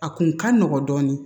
A kun ka nɔgɔ dɔɔni